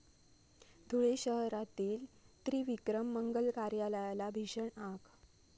धुळे शहरातील त्रिविक्रम मंगल कार्यालयाला भीषण आग